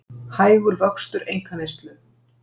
Hægur vöxtur einkaneyslu